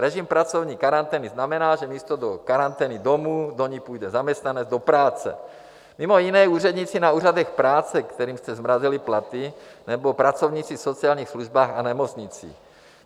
Režim pracovní karantény znamená, že místo do karantény domů do ní půjde zaměstnanec do práce, mimo jiné úředníci na úřadech práce, kterým jste zmrazili platy, nebo pracovníci v sociálních službách a nemocnicích.